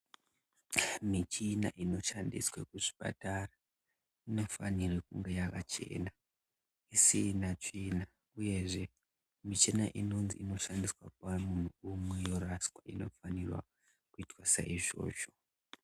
Michina inoshandiswa muzvipatara inofanira kunga yakachena isina tsvina uyezve michina inozi inoshandiswa kuarungu yoraswa inofanira kuitwa saizvozvo